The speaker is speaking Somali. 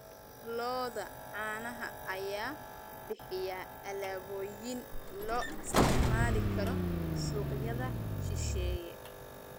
Lo'da caanaha ayaa bixiya alaabooyin loo isticmaali karo suuqyada shisheeye.